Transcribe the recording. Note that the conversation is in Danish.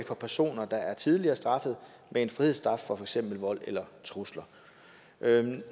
for personer der er tidligere straffet med en frihedsstraf for for eksempel vold eller trusler